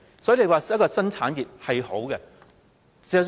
所以，發展新產業是好事。